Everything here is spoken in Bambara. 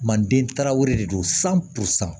Mandentaraw de don